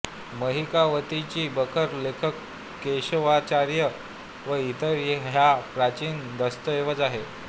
महिकावतीची बखर लेखक केशवाचार्य व इतर हा प्राचीन दस्तऐवज आहे